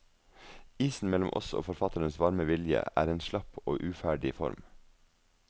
Isen mellom oss og forfatterens varme vilje, er en slapp og uferdig form.